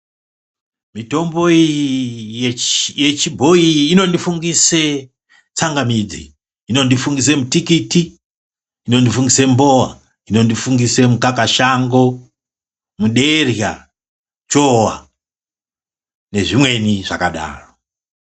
Mitombo iyi yechibhoyi inondifungise tsangamidzi. Inondifungisa mutikiti. Inondifungisa mbowa. Inondifungisa mukakashango, munerya, chowa nezvimweni zvakadaro.